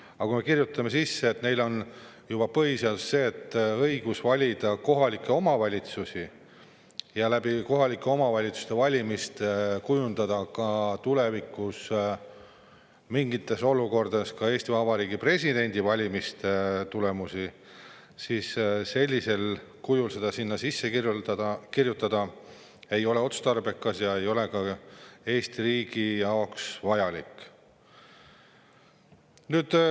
Aga kirjutada juba põhiseadusesse, et neil on õigus valida kohaliku omavalitsuse ja kohalike valimiste kaudu kujundada tulevikus mingites olukordades ka Eesti Vabariigi presidendivalimiste tulemusi – sellisel kujul seda sinna sisse kirjutada ei ole otstarbekas ja see ei ole ka Eesti riigile vajalik.